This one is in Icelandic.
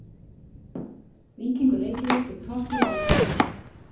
Víkingur Reykjavík fékk topplið Vals í heimsókn.